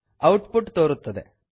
out ಪುಟ್ ತೋರುತ್ತದೆ